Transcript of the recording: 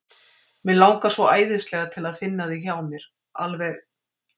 Mig langar svo æðislega til að finna þig hjá mér. alveg.